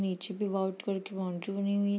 नीचे भी white colour की बाउंड्री बनी हुई --